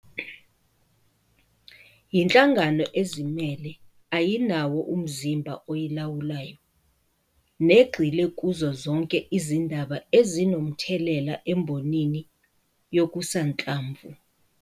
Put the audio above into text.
Yinhlangano ezimele ayinawo umzimba oyilawulayo negxile kuzo zonke izindaba ezinomthelela embonini yokusanhlamvu.